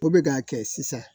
O bɛ k'a kɛ sisan